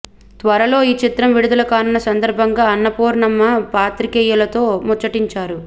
త్వరలో ఈ చిత్రం విడుదల కానున్న సందర్బంగా అన్నపూర్ణమ్మ పాత్రికేయులతో ముచ్చటించారు